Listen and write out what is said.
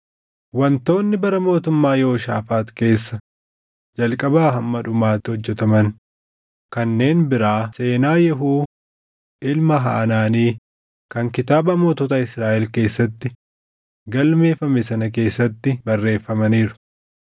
Wantoonni bara mootummaa Yehooshaafaax keessa jalqabaa hamma dhumaatti hojjetaman kanneen biraa seenaa Yehuu ilma Hanaanii kan kitaaba mootota Israaʼel keessatti galmeeffame sana keessatti barreeffamaniiru.